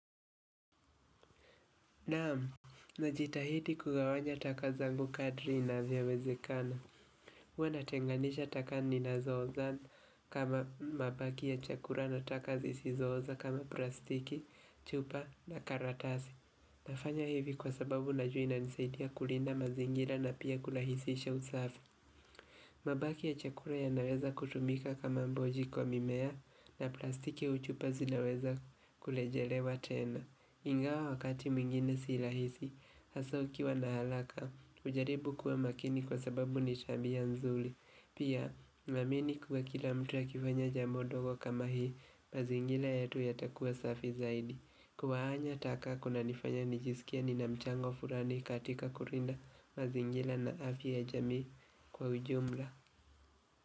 Naamu, najitahidi kugawanya takazangu kadri inavyowezekana. Huwa natenganisha taka ninazooza kama mabaki ya chakula na taka zisizooza kama plastiki, chupa na karatasi. Nafanya hivi kwa sababu najua inanisaidia kulinda mazingira na pia kurahisisha usafi. Mabaki ya chakura yanaweza kutumika kama mboji kwa mimea na plastiki au chupa zinaweza kurejelewa tena. Ingawa wakati mwingine si rahisi, hasa ukiwa na halaka, ujaribu kuwa makini kwa sababu nitabia nzuli Pia, naamini kuwa kila mtu akifanya jambo ndogo kama hii, mazingila yetu yatakua safi zaidi kugawanya taka kuna nifanya nijisikie ni namchango fulani katika kulinda mazingila na afya ya jamii kwa ujumla.